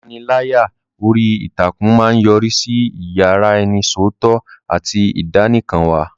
Ìpániláyà orí ìtàkùn máa ń yọrí sí ìyaraẹnisọ́tọ̀ àti ìdánìkanwà.